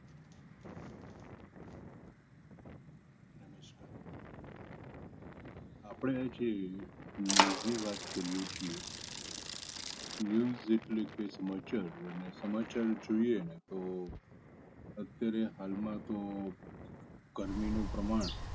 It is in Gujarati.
આપણે આજે news ની વાત કરીએ છીએ news એટલે કે સમાચાર અને સમાચાર જોઈએ ને તો અત્યારે હાલમાં તો ગરમીનું પ્રમાણ